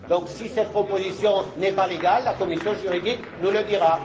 Si cette proposition n'est pas légale, la commission juridique nous le dira.